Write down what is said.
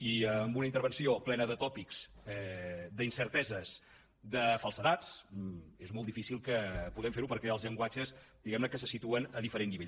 i amb una intervenció plena de tòpics d’incerteses de falsedats és molt difícil que puguem fer ho perquè els llenguatges se situen a diferent nivell